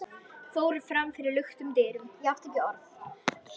fóru fram fyrir luktum dyrum.